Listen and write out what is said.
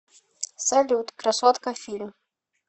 салют красотка фильм